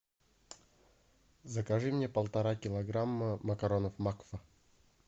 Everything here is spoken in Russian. закажи мне полтора килограмма макаронов макфа